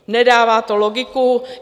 Nedává to logiku.